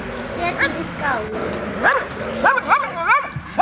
Setjið í skál.